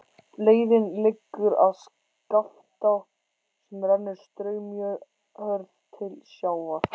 Leiðin liggur að Skaftá sem rennur straumhörð til sjávar.